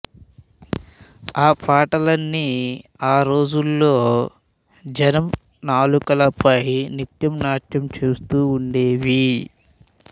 ఆ పాటలన్నీ ఆ రోజులలో జనం నాలుకలపై నిత్యం నాట్యం చేస్తూ ఉండేవి